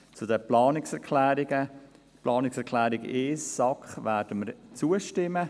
Zu den Planungserklärungen: Der Planungserklärung 1, SAK, werden wir zustimmen.